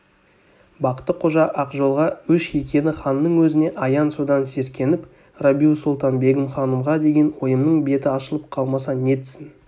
бақты-қожа ақжолға өш екені ханның өзіне аян содан сескеніп рабиу-сұлтан-бегім ханымға деген ойымның беті ашылып қалмаса нетсін